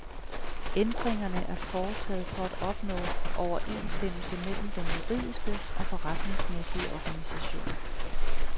Ændringerne er foretaget for at opnå overensstemmelse mellem den juridiske og forretningsmæssige organisation.